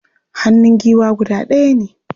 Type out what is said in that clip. Hannun giwa guda ɗaya ne.